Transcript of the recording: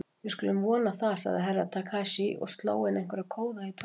Við skulum vona það, sagði Herra Takashi og sló inn einhverja kóða í tölvuna.